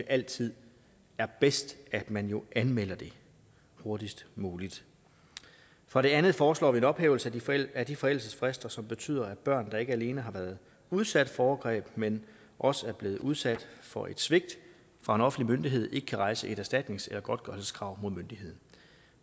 altid er bedst at man anmelder det hurtigst muligt for det andet foreslår vi en ophævelse af de forældelsesfrister som betyder at børn der ikke alene har været udsat for overgreb men også er blevet udsat for et svigt fra en offentlig myndighed ikke kan rejse et erstatningsgodtgørelseskrav mod myndigheden